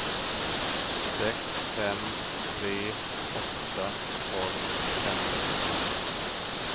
sex fem tre åtta tolv femhundrafyrtioåtta